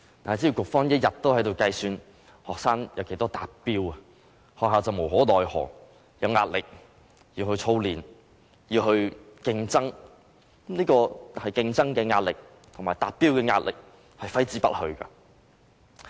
但是，只要局方一天在計算學生的達標率，學校便無可奈何，有壓力要操練、要競爭，這種競爭的壓力和達標的壓力揮之不去。